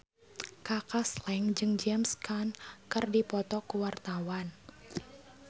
Kaka Slank jeung James Caan keur dipoto ku wartawan